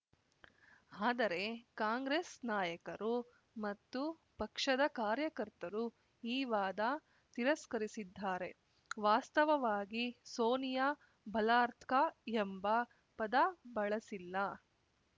ಆದರೆ ಕಾಂಗ್ರೆಸ್‌ ನಾಯಕರು ಮತ್ತು ಪಕ್ಷದ ಕಾರ್ಯಕರ್ತರು ಈ ವಾದ ತಿರಸ್ಕರಿಸಿದ್ದಾರೆ ವಾಸ್ತವವಾಗಿ ಸೋನಿಯಾ ಬಲಾರ್ತ್ಕ ಎಂಬ ಪದ ಬಳಸಿಲ್ಲ